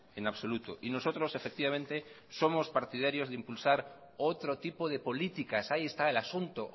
en absoluto y nosotros efectivamente somos partidarios de impulsar otro tipo de políticas ahí está el asunto